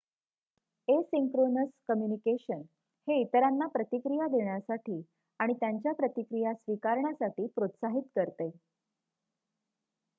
asynchronous communication हे इतरांना प्रतिक्रिया देण्यासाठी आणि त्यांच्या प्रतिक्रिया स्वीकारण्यासाठी प्रोत्साहित करते